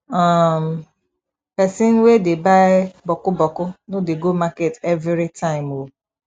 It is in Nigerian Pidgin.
um pesin wey dey buy bokku bokku no dey go market evritime o